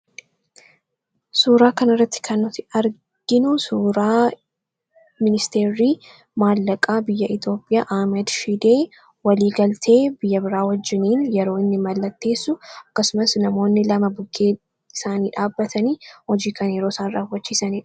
Suuraa kanarratti kan nuti arginu suuraa ministeerri maallaqaa Itoophiyaa Ahmad Shidee waliigaltee biyya biraa waliin yeroo inni mallatteessu akkasumas namoonni lama bukkee isaanii dhaabbatanii hojii kan isaan raawwachiisanidha.